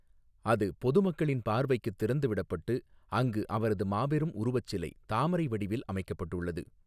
அது பொதுமக்களின் பார்வைக்குத் திறந்துவிடப்பட்டு, அங்கு அவரது மாபெரும் உருவச் சிலை தாமரை வடிவில் அமைக்கப்பட்டுள்ளது.